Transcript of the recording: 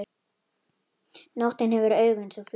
Nóttin hefur augu eins og fluga.